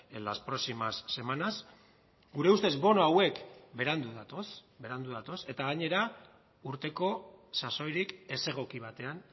en las próximas semanas gure ustez bono hauek berandu datoz berandu datoz eta gainera urteko sasoirik ezegoki batean